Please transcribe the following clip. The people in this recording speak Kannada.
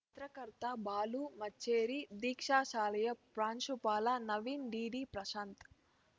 ಪತ್ರಕರ್ತ ಬಾಲು ಮಚ್ಚೇರಿ ದೀಕ್ಷಾ ಶಾಲೆಯ ಪ್ರಾಂಶುಪಾಲ ನವೀನ್‌ ಡಿಡಿ ಪ್ರಶಾಂತ್‌